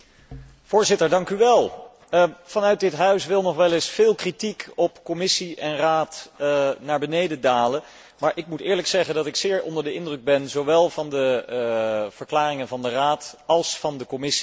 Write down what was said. Voorzitter, vanuit dit Parlement wil nog wel eens veel kritiek op Commissie en Raad naar beneden dalen, maar ik moet eerlijk zeggen dat ik zeer onder de indruk ben zowel van de verklaringen van de Raad als van de Commissie.